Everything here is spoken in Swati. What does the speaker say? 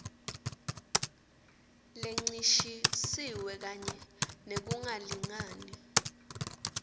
lencishisiwe kanye nekungalingani